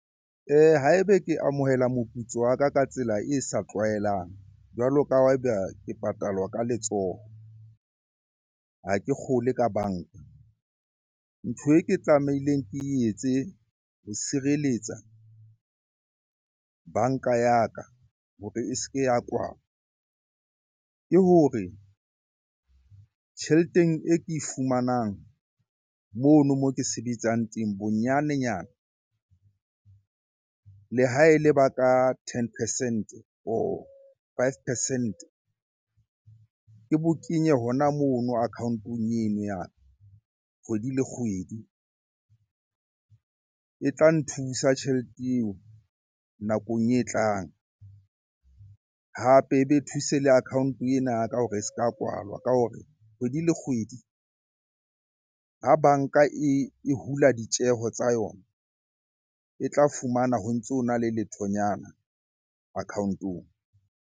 Ha ebe ke amohela moputso wa ka ka tsela e sa tlwaelang, jwalo ka ha eba ke patalwa ka letsoho, ha ke kgolwe ka banka. Ntho e ke tsamaileng ke etse ho sireletsa banka ya ka hore e se ke ya kwalwa ke hore tjheleteng e ke e fumanang mono moo ke sebetsang teng, bonyanenyana le ha e le ba ka ten percent-e or five percent-e ke bo kenye hona mono account-eng eno ya kgwedi le kgwedi. E tla nthusa tjhelete eo nakong e tlang, hape ebe thuse le account-e ena ya ka hore e se ka kwalwa. Ka hore kgwedi le kgwedi ha banka e hula ditjeho tsa yona, e tla fumana ho ntso na le lethonyana account-ong.